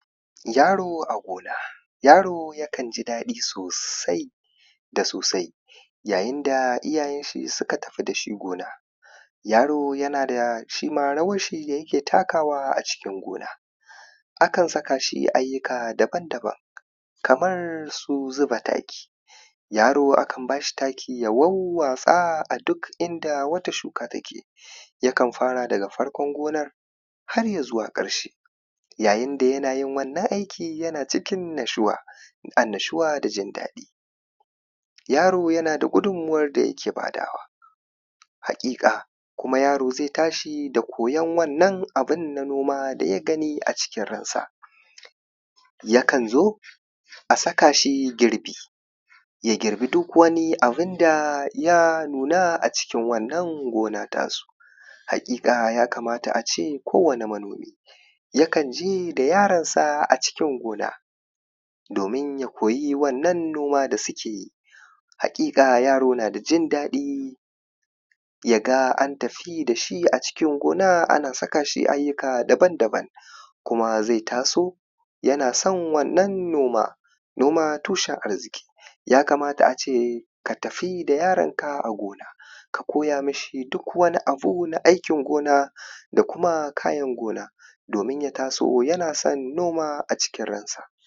yaro a gona yaro yakan ji daɗi sosai da sosai yayin da iyayen sa suka tafi dashi gona yaro shima yana da rawar shi da yake takawa a cikin gona akan saka shi ayyuka daban-daban kamar su zuba taki yaro akan bashi taki ya wawwatsa a duk inda wata shuka take yakan fara daga farkon gonar har ya zuwa ƙarshen yayin da yana yin wannan aikin yana cikin nashwa annashwa da jin daɗi yaro yana da gudunmuwar da yake badawa haƙiƙa kuma yaro zai tashi da koyon wannan abun nan na noma daya gani a cikin ransa yakan zo asaka shi girbi ya girbi duk wani abu da ya nuna a cikin wannan gona tasu haƙiƙa ya kamata ace kowani manomi yakan je da yaron sa a cikin gona domin ya koyi wannan noma da suke yi haƙiƙa yaro na da jin daɗi yaga an tafi dashi a cikin gona ana saka shi ayyuka daban-daban kuma zai taso yana son wannan noman noma tushen arziki ya kamata ace ka tafi da yaron a gona ka koya mishi duk wani abu na aikin gona da kuma kayan gona domin ya taso yana son noma a cikin ran sa